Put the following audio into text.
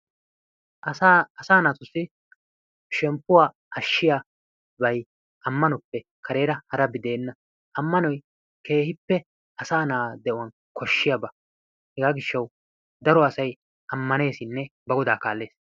Asaa naatussi shemppuwa ashshiyaabayi ammanoppe kareera harabi de"enna. Ammanoyi keehippe asaa na"aa de"uwan koshshiyaba hegaa gishshawu daro asayi ammaneesinne ba godaa kaallees.